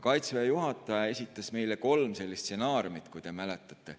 Kaitseväe juhataja esitas meile kolm stsenaariumi, kui te mäletate.